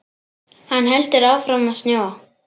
Hann heldur áfram að snjóa.